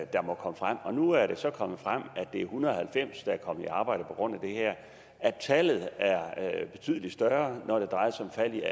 der må komme frem og nu er det så kommet frem at er en hundrede og halvfems der er kommet i arbejde på grund af det her at tallet er betydelig større når det drejer sig om faldet